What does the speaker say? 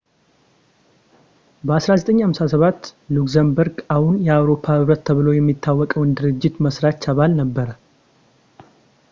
በ1957 ሉክዘምበርግ አሁን የአውሮፓ ኅብረት ተብሎ የሚታወቀው ድርጅት መሥራች አባል ነበረ